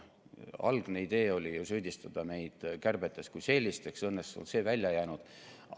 Algne idee oli süüdistada meid kärbetes kui sellistes, õnneks on see välja jäänud.